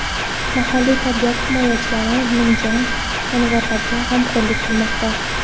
Mahalliy tabiat himoyachilari nimjon jonivorlarga g‘amxo‘rlik qilmoqda.